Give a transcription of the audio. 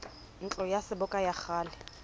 ntlo ya seboka ya kgale